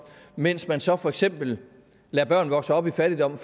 mens man så for eksempel lader børn vokse op i fattigdom